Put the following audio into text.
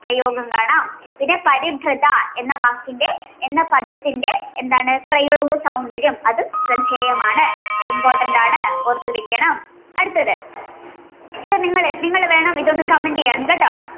പ്രയോഗങ്ങൾ കാണാം. പിന്നെ പരിഭ്രധ എന്ന വാക്കിന്റെ എന്ന പദത്തിന്റെ എന്താണ് പ്രയോഗ സൗന്ദര്യം അതും ശ്രദ്ധേയമാണ്. important ആണ് ഓർത്തു വെക്കണം. അടുത്തത് ഇത് നിങ്ങള്നിങ്ങള് വേണം comment ചെയ്യാന് കേട്ടോ